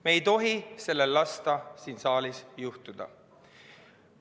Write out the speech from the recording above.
Me ei tohi sellel lasta siin saalis juhtuda.